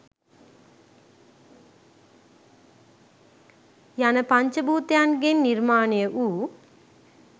යන පංචභූතයන්ගෙන් නිර්මාණය වූ